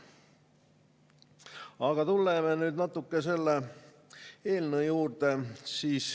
Aga tuleme nüüd natuke selle eelnõu juurde.